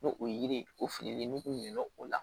N'o o yiri o fililen n'u o la